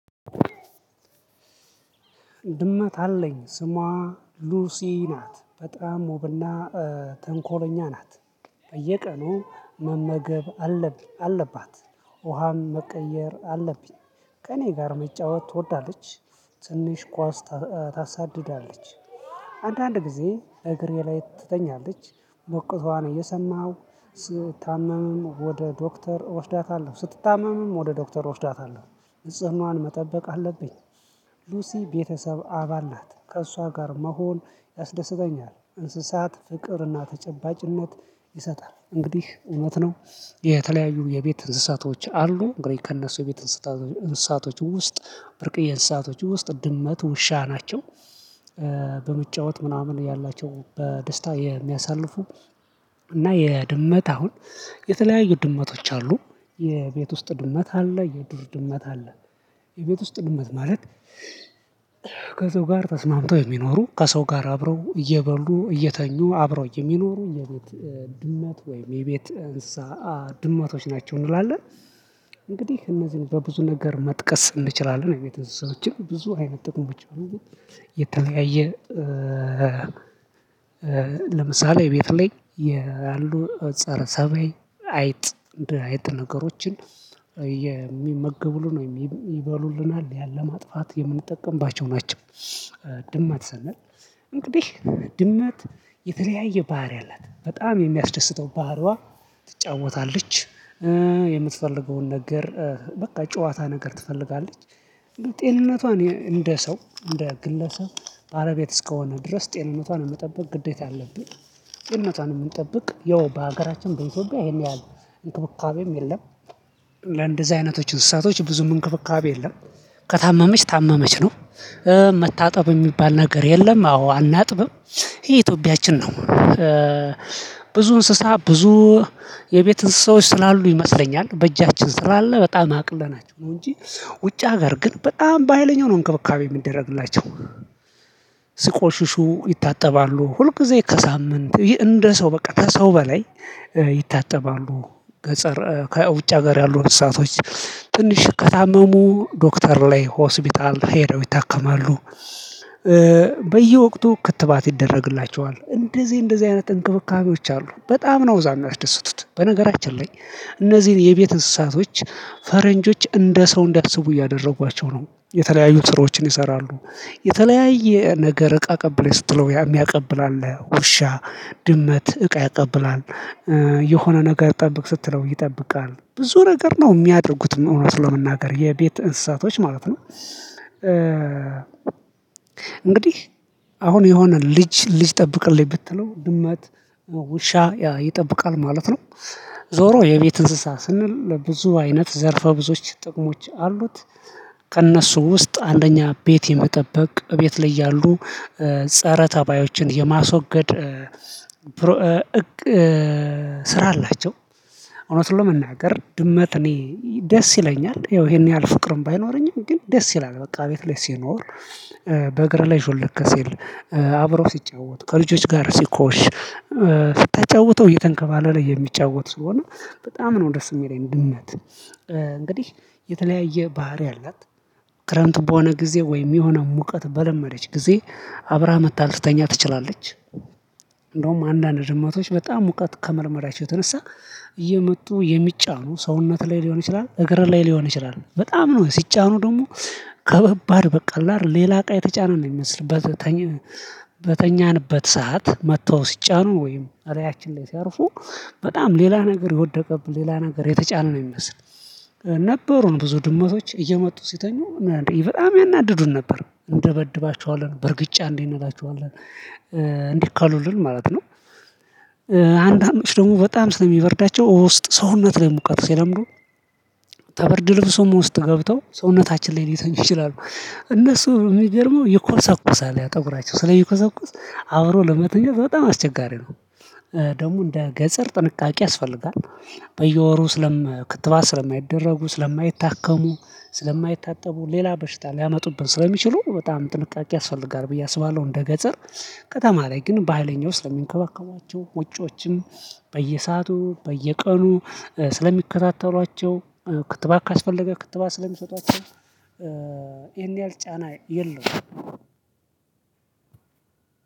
ድመት አለኝ ስሟ ሉሲ ናት በጣም ወብና ተንኮለኛ ናት። በየቀኑ መመገብ አለብኝ አለባት። ውሃም መቀየር አለብኝ። ከእኔ ጋር መጫወት ትወዳለች። ትንሽ ኳስ ታሳድዳለች። አንዳንድ ጊዜ እግሬ ላይ ትተኛለች። ሞቅታዋን እየሰማሁ ስታመምም ወደ ዶክተር እወስዳታለሁ ስትታመምም ወደ ዶክተር እወስዳታለሁ። ንጽህናዋን መጠበቅ አለብኝ። ሉሲ ቤተሰብ አባል ናት ከእሷ ጋር መሆን ያስደስተኛል። እንስሳት ፍቅርና ተጨባጭነት ይሰጣል እንግዲህ እውነት ነው። የተለያዩ የቤት እንስሳቶች አሉ እንግዲህ ከእነሱ ቤት እንስሳቶች ውስጥ ብርቅዬ እንስሳቶች ውስጥ ድመት ውሻ ናቸው። በመጫወት ምናምን ያላቸው በደስታ የሚያሳልፉ። እና የድመት አሁን የተለያዩ ድመቶች አሉ። የቤት ውስጥ ድመት አለ የዱር ድመት አለ። የቤት ውስጥ ድመት ማለት ከሰው ጋር ተስማምተው የሚኖሩ ከሰው ጋር አብረው እየበሉ እየተኙ አብረው የሚኖሩ የቤት ድመት ወይም የቤት እንሳ ድመቶች ናቸው እንላለን። እንግዲህ እነዚህን በብዙ ነገር መጥቀስ እንችላለን። የቤት እንስሳዎችን ብዙ አይነት ብቻ ነው። የተለያየ ለምሳሌ ቤት ላይ ያሉ ፀረ ተባይ አይጥ አይጥ ነገሮችን የሚመገብ ነው የሚበሉልናል ያን ለማጥፋት የምንጠቀምባቸው ናቸው። ድመት ሰነል እንግዲህ ድመት የተለያየ ባህሪ አላት በጣም የሚያስደስተው ባህሪዋ ትጫወታለች። የምትፈልገውን ነገር በቃ ጨዋታ ነገር ትፈልጋለች። ጤንነቷን እንደ ሰው እንደ ግለሰብ አረ ቤት እስከሆነ ድረስ ጤንነቷን መጠበቅ ግዴታ አለብኝ። ጤንነቷን የምንጠብቅ ያው በሀገራችን በኢትዮጵያ ይሄን ያህል እንክብካቤም የለም። ለእንደዚህ አይነቶችን ስሳቶች ብዙ እንክብካቤ የለም። ከታመመች ታመመች ነው መታጠብ የሚባል ነገር የለም አዎ አናጥብም ይሄ ኢትዮጵያችን ነው። ብዙ እንስሳ ብዙ የቤት እንስሳዎች ስላሉ ይመስለኛል በእጃችን ስላአለ በጣም አቅለናቸው ነው እንጂ ውጫ ሀገር ግን በጣም በሃይለኛው ነው እንክብካቤ የሚደረግላቸው። ስቆሽሹ ይታጠባሉ ሁልጊዜ ከሳምንት እንደ ሰው በቃ ከሰው በላይ ይታጠባሉ። ገጸር ከውጭ ሀገር ያሉ እንስሳቶች ትንሽ ከታመሙ ዶክተር ላይ ሆስፒታል ሄደው ይታከማሉ። በየወቅቱ ክትባት ይደረግላቸዋል እንደዚህ እንደዚህ አይነት እንክብካቤዎች አሉ በጣም ነው እዛ የሚደሰቱት በነገራችን ላይ እነዚህን የቤት እንስሳቶች ፈረንጆች እንደ ሰው እንዳስቡ እያደረጓቸው ነው የተለያዩ ስራዎችን ይሰራሉ። የተለያየ ነገር እቃ አቀብለህ ስትለው ያ የሚያቀብል አለ ውሻ ድመት እቃ ያቀብላል። የሆነ ነገር ጠብቅ ስትለው ይጠብቃል ብዙ ነገር ነው የሚያደርጉት እውነት ለመናገር የቤት እንስሳቶች ማለት ነው እንግዲህ አሁን የሆነ ልጅ ልጅ ጠብቅልኝ ብትለው ድመት ውሻ ይጠብቃል ማለት ነው። ዞሮ የቤት እንስሳ ስንል ብዙ አይነት ዘርፈ ብዙዎች ጥቅሞች አሉት። ከእነሱ ውስጥ አንደኛ ቤት የመጠበቅ እቤት ላይ ያሉ ፀረ ተባዮችን የማስወገድ ስራ አላቸው። እውነቱን ለመናገር ድመት እኔ ደስ ይለኛል ይሄን ያህል ፍቅርም ባይኖረኝም ግን ደስ ይላል በቃ ቤት ላይ ሲኖር። በእግር ላይ ሹልክሲል አብሮ ሲጫወቱ ከልጆች ጋር ሲኮሽ ተጫውተው እየተንከባለለ የሚጫወት ስለሆነ በጣም ነው ደስ የሚለኝ ድመት። እንግዲህ የተለያየ ባህሪ አላት። ክረምት በሆነ ጊዜ ወይም የሆነ ሙቀት በለመደች ጊዜ አብራ መታ ልትተኛ ትችላለች። እንደውም አንዳንድ ድምመቶች በጣም ሙቀት ከመልመዳቸው የተነሳ እየመጡ የሚጫኑ ሰውነት ላይ ሊሆን ይችላል። እግር ላይ ሊሆን ይችላል በጣም ነው ሲጫኑ ደግሞ ከባድ በቀላል ሌላ እቃ የተጫነ ነው የሚመስል። በተኛንበት ሰዓት መጥተው ሲጫኑ ወይም እላያችን ላይ ሲያርፉ። በጣም ሌላ ነገር የወደቀብን ሌላ ነገር የተጫነ ነው የሚመስል። ነበሩን ብዙ ድመቶች እየመጡ ሲተኙ። በጣም ያናድዱን ነበር እንደበድባቸዋለን በርግጫ እንዴ እንላቸዋለን እንላችኋለን እንዲህ ካሉልን ማለት ነው። አንዳንዶች ደግሞ በጣም ስለሚበርዳቸው ውስጥ ሰውነት ላይ ሙቀት ሲለምዱ። ተበርድ ልብሶም ውስጥ ገብተው ሰውነታችን ላይ ሊተኙ ይችላሉ እነሱ በሚገርመው ይኮሰኩሳል ፀጉራቸው ስለሚኮሰኩስ አብሮ ለመተኛት በጣም አስቸጋሪ ነው። ደግሞ እንደ ገጠር ጥንቃቄ ያስፈልጋል። በየወሩ ክትባስ ስለማይደረጉ ስለማይታከሙ ስለማይታጠቡ ሌላ በሽታ ሊያመጡብን ስለሚችሉ በጣም ጥንቃቄ ያስፈልጋል ብዬ አስባለሁ እንደ ገጠር። ከተማ ላይ ግን ባሀይለኛው ስለሚንከባከቧቸው ውጮችም በየሰአቱ በየቀኑ ስለሚከታተሏቸው ክትባት ካስፈለገ ክትባት ስለሚሰጧቸው። ይሄን ያህል ጫና የለውም።